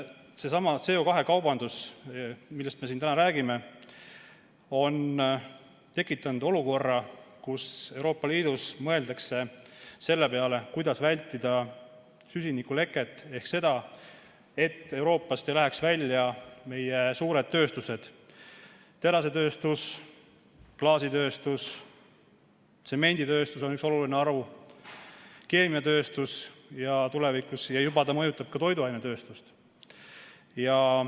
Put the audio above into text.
Seesama CO2 kaubandus, millest me siin täna räägime, on tekitanud olukorra, kus Euroopa Liidus mõeldakse selle peale, kuidas vältida süsinikuleket ehk seda, et Euroopast ei läheks välja suured tööstused: terasetööstus, klaasitööstus, tsemenditööstus, mis on üks oluline haru, tulevikus ka keemiatööstus ja see mõjutab juba ka toiduainetööstust.